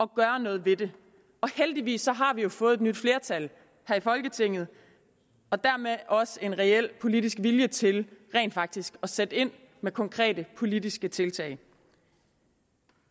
gøre noget ved det heldigvis har vi jo fået et nyt flertal her i folketinget og dermed også en reel politisk vilje til rent faktisk at sætte ind med konkrete politiske tiltag